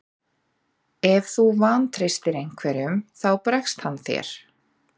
Ef þú vantreystir einhverjum þá bregst hann þér.